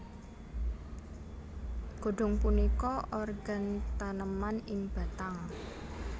Godong punika organ taneman ing batang